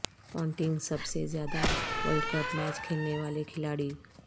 Ponting سب سے زیادہ ورلڈ کپ میچ کھیلنے والے کھلاڑی